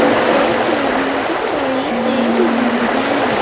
मुझे सीढ़ियां दिखाई दे रही हैं।